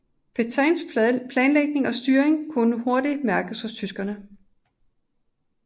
Petains planlægning og styring kunne hurtigt mærkes hos tyskerne